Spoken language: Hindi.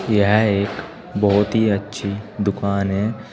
यह एक बहुत ही अच्छी दुकान है।